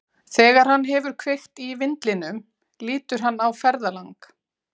Þegar hann hefur kveikt í vindlinum lítur hann á ferðalang.